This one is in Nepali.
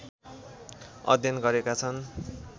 अध्ययन गरेका छन्